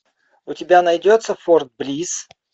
у тебя найдется форт блисс